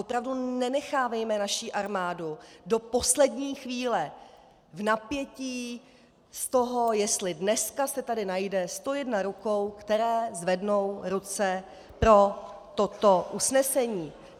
Opravdu nenechávejme naši armádu do poslední chvíle v napětí z toho, jestli dneska se tady najde 101 rukou, které zvednou ruce pro toto usnesení.